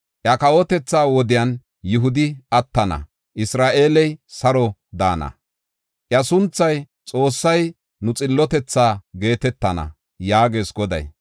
Iya kawotetha wodiyan Yihudi attana; Isra7eeley saro daana. Iya sunthay, ‘Xoossay nu Xillotethaa’ geetetana” yaagees Goday.